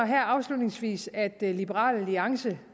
her afslutningsvis at det at liberal alliance